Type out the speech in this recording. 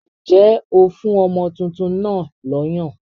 Ǹjẹ́ ó fún ọmọ tuntun náà lọ́yàn?